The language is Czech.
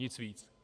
Nic víc.